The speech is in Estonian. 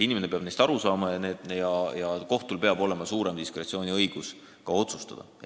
Inimene peab neist aru saama ja kohtul peab olema suurem diskretsiooniõigus otsustada.